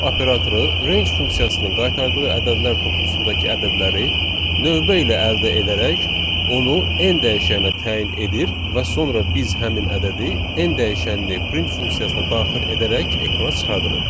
For operatoru range funksiyasının qaytardığı ədədlər toplusundakı ədədləri növbə ilə əldə edərək, onu n dəyişəninə təyin edir və sonra biz həmin ədədi n dəyişəni print funksiyasına daxil edərək ekrana çıxarırıq.